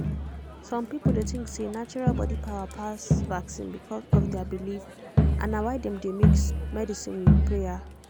some people dey think say natural body power pass vaccine because of their belief and na why dem dey mix medicine with prayer